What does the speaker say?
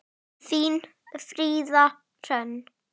Þín, Fríða Hrönn.